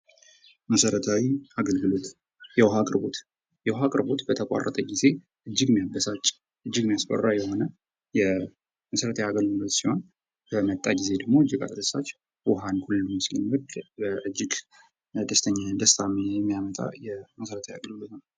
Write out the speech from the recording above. መሰረታዊ አገልግሎት የውሃ አቅርቦት በተቋረጠ ጊዜ እጅግ የሚያበሳጭ እጅግ የሚያስፈራ የሆነ የመሰረታዊ አገልግሎት ሲሆን በመጣ ጊዜ እጅግ አስደሳች ሲሆን ውሃን ሁሉም ስለሚወድ እጅግ ደስታን የሚያመጣ መሰረታዊ አገልግሎት ነው።